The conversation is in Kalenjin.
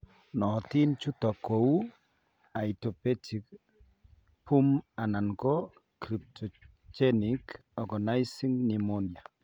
Nootin chutok kou idiopathic BOOP anan ko cryptogenic organizing pneumonia.